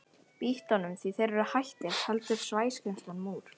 Bítlunum því þeir eru hættir, heldur Sæskrímslunum úr